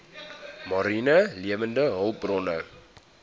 mariene lewende hulpbronne